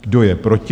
Kdo je proti?